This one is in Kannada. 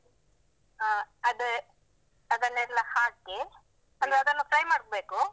ಅಹ್ ಅದೇ ಅದನ್ನೆಲ್ಲಾ ಹಾಕಿ, ಅಂದ್ರೆ ಅದನ್ನು fry ಮಾಡ್ಬೇಕು.